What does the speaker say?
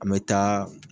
An bɛ taa